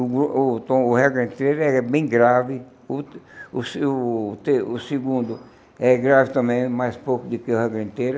O o tom, a regra inteira é bem grave, o o segundo é grave também, é mais pouco do que a regra inteira,